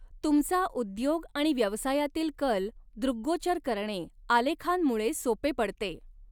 तुमचा उद्योग आणि व्यवसायातील कल दृग्गोचर करणे आलेखांमुळे सोपे पडते.